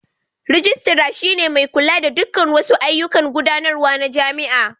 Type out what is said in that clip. Rijistara shi ne mai kula da dukkan wasu ayyukan gudanarwa na jami'a.